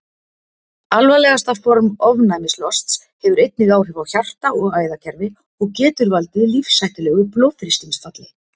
Alvarlegasta form ofnæmislosts hefur einnig áhrif á hjarta- og æðakerfi og getur valdið lífshættulegu blóðþrýstingsfalli.